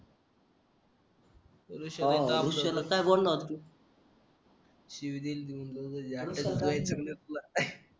ऋषाला काय बोलणार तू शिवी दिली